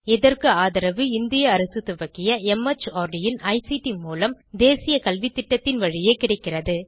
இதற்கு ஆதரவு இந்திய அரசு துவக்கிய மார்ட் இன் ஐசிடி மூலம் தேசிய கல்வித்திட்டத்தின் வழியே கிடைக்கிறது